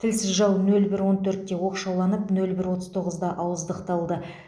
тілсіз жау нөл бір он төртте оқшауланып нөл бір отыз тоғызда ауыздықталды